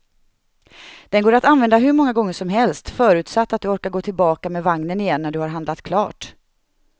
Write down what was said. Den går att använda hur många gånger som helst, förutsatt att du orkar gå tillbaka med vagnen igen när du har handlat klart.